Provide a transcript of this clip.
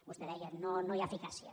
vostè deia no hi ha eficàcia